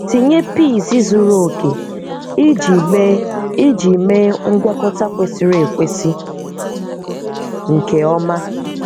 Tịnyé peas zuru òkè íjị méé íjị méé ngwakọ́tà kwésírí ekwésì nkè ọ́má